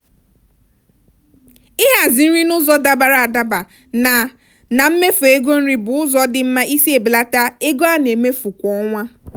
ịhazi nri n'ụzọ dabara adaba na na mmefu ego nri bụ ụzọ dị mma isi ebelata ego a na-emefu kwa ọnwa.